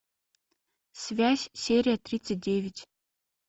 связь серия тридцать девять